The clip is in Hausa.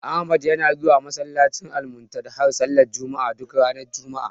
Ahmad yana zuwa masallacin Almuntadha sallar juma'a, duk ranar juma'a.